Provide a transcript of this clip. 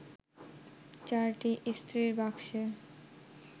চারটি ইস্ত্রির বাক্সে